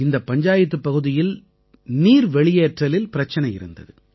இந்தப் பஞ்சாயத்துப் பகுதியில் நீர் வெளியேற்றலில் பிரச்சனை இருந்தது